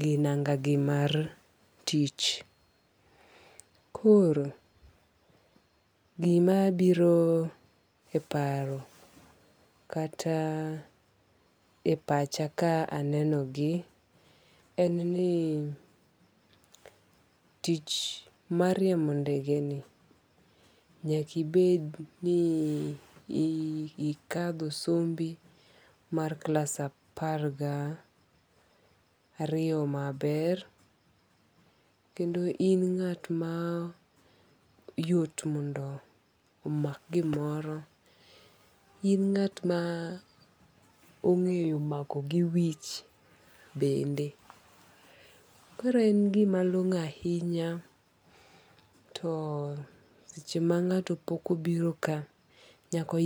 gi nanga gi mar tich. Koro gima biro e paro kata e pacha ka aneno gi en ni tich mar riembo ndege ni nyakibed ni ikadho sombi mar klas apar ga ariyo maber. Kendo in ng'at ma yot mondo omak gimoro. In ng'at ma ong'eyo mako gi wich bende. Koro en gima long'o ahinya. To seche ma ng'ato pok obiro ka, Nyako